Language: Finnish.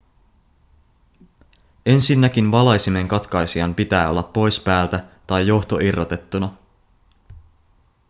ensinnäkin valaisimen katkaisijan pitää olla pois päältä tai johto irrotettuna